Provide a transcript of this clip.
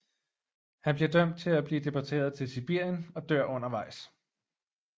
Han bliver dømt til at blive deporteret til Sibirien og dør undervejs